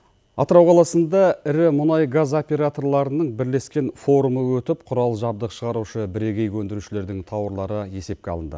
атырау қаласында ірі мұнай газ операторларының бірлескен форумы өтіп құрал жабдық шығарушы бірегей өндірушілердің тауарлары есепке алынды